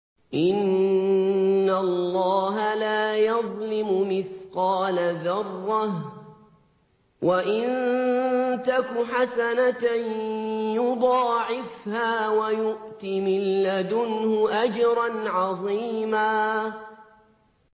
إِنَّ اللَّهَ لَا يَظْلِمُ مِثْقَالَ ذَرَّةٍ ۖ وَإِن تَكُ حَسَنَةً يُضَاعِفْهَا وَيُؤْتِ مِن لَّدُنْهُ أَجْرًا عَظِيمًا